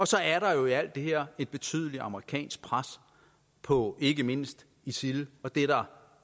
så er der jo i alt det her et betydeligt amerikansk pres på ikke mindst isil og det er der